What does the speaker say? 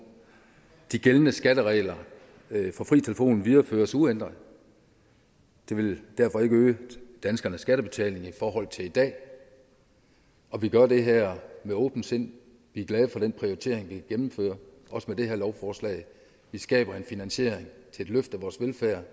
at de gældende skatteregler for fri telefon videreføres uændret det vil derfor ikke øge danskernes skattebetaling i forhold til i dag og vi gør det her med åbent sind vi er glade for den prioritering vi gennemfører også med det her lovforslag vi skaber finansiering til et løft af vores velfærd